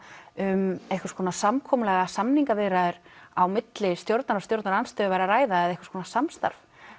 um einhvers konar samkomulag eða samningaviðræður á milli stjórnar og stjórnarandstöðu væri að ræða eða einhvers konar samstarf